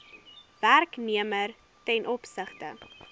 werknemer ten opsigte